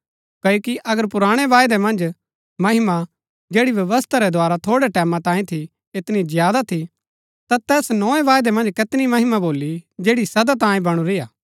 क्ओकि अगर पुराणै वायदै मन्ज महिमा जैड़ी व्यवस्था रै द्वारा थोड़ै टैमां तांयै थी ऐतनी ज्यादा थी ता तैस नोए वायदै मन्ज कैतनी महिमा भोली जैड़ी सदा तांयै बणुरी हा